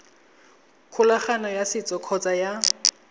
kgolagano ya setso kgotsa ya